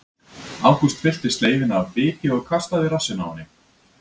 Ágúst fyllti sleifina af biki og kastaði í rassinn á henni.